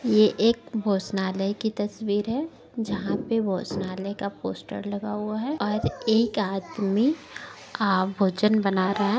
ये एक भोजनालय की तस्वीर है जहाँ पे भोजनालय का पोस्टर लगा हुआ है और एक आदमी आप भोजन बना रहा है।